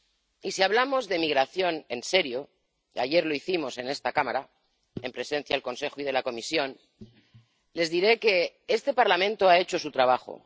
Y, si hablamos de migración en serio ―ayer lo hicimos en esta Cámara, en presencia del Consejo y de la Comisión—, les diré que este Parlamento ha hecho su trabajo.